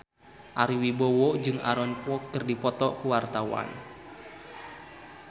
Ari Wibowo jeung Aaron Kwok keur dipoto ku wartawan